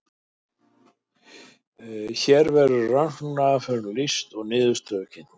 hér verður rannsóknaraðferðum lýst og niðurstöður kynntar